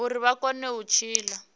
uri vha kone u tshila